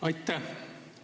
Aitäh!